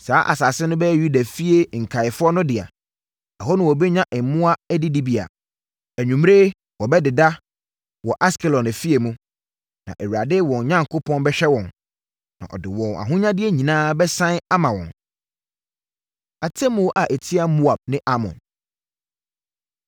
Saa asase no bɛyɛ Yudafie nkaeɛfoɔ no dea; ɛhɔ na wɔbɛnya mmoa adidibea. Anwummerɛ wɔbɛdeda wɔ Askelon afie mu. Na Awurade, wɔn Onyankopɔn bɛhwɛ wɔn, na ɔde wɔn ahonyadeɛ nyinaa bɛsane ama wɔn. Atemmuo A Ɛtia Moab Ne Amon